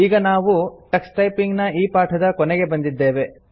ಈಗ ನಾವು Tux typing ನ ಈ ಪಾಠದ ಕೊನೆಗೆ ಬಂದಿದ್ದೇವೆ